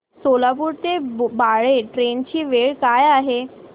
सोलापूर ते बाळे ट्रेन ची वेळ काय आहे